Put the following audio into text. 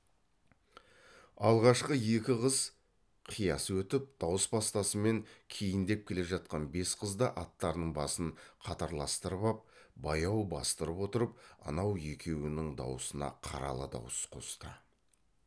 алғашқы екі қыз қияс өтіп дауыс бастасымен кейіндеп келе жатқан бес қыз да аттарының басын қатарластырып ап баяу бастырып отырып анау екеуінің дауысына қаралы дауыс қосты